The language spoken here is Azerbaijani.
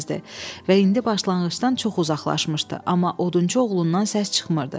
Və indi başlanğıcdan çox uzaqlaşmışdı, amma odunçu oğlundan səs çıxmırdı.